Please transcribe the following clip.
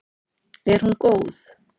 Er hún góð?